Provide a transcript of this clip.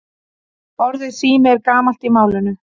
Orðið sími er gamalt í málinu.